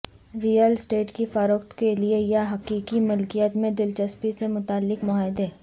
rail estate کی فروخت کے لئے یا حقیقی ملکیت میں دلچسپی سے متعلق معاہدے